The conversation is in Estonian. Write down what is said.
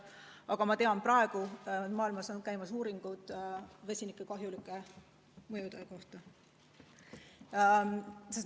Aga ma tean, et praegu on maailmas käimas uuringud vesiniku kahjulike mõjude kohta.